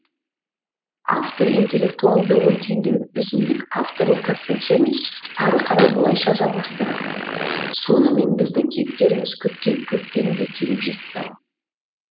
автор интеллектуалды ой түйіндеуін өзіндік авторлық концепциямен ары қарай былайша жалғастырады сонымен біздің кейіпкеріміз күткен көктем де келіп жетті ау